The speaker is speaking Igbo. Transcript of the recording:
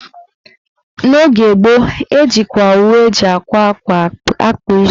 N'oge gboo, ejikwa owu eji àkwá ákwá akpa isi